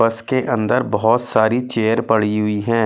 बस के अंदर बहुत सारी चेयर पड़ी हुई है।